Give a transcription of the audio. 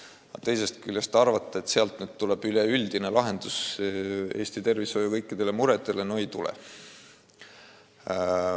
Aga teisest küljest, arvata, et sealt tuleb üleüldine lahendus Eesti tervishoiu kõikidele muredele – no ei tule.